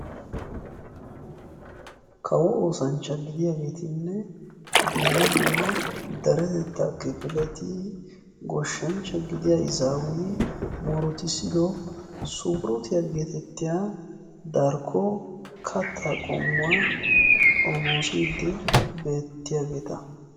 Kawo ooshshanchchatti de'iyagettinne sunkkuruttuwa geetettiya darkko katta xoommossidde beettiyagetta.